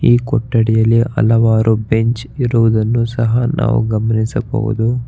ಈ ಕೊಠಡಿಯಲ್ಲಿ ಹಲವಾರು ಬೆಂಚ್ ಇರುವುದನ್ನು ಸಹ ನಾವು ಗಮನಿಸಬಹುದು.